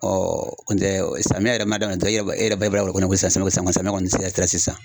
n tɛ samiyɛ yɛrɛ ma daminɛ dɔrɔn e b'a e yɛrɛ b'a b'a dɔnko samiyɛ kɔni sera sisan